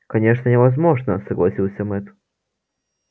конечно невозможно согласился мэтт